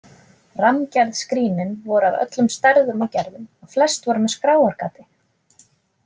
Rammgerð skrínin voru af öllum stærðum og gerðum og flest voru með skráargati.